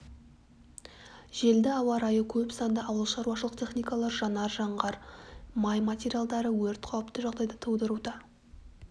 желді ауа райы көп санды ауыл шаруашылық техникалары жанар-жағар май материалдары өрт қауіпті жағдайды тудыруда